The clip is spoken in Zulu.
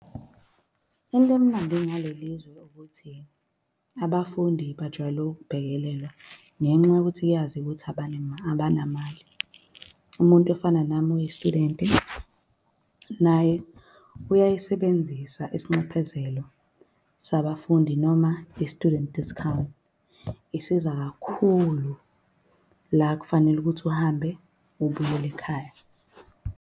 Into emnandi ngale lizwe ukuthi abafundi bajwayele ukubhekelelwa, ngenxa yokuthi kuyaziwa ukuthi abanamali. Umuntu ofana nami oyi-student naye uyayisibenzisa isinxephezelo sabafundi, noma i-student discount. Isiza kakhulu la kufanele ukuthi uhambe ubuyele ekhaya.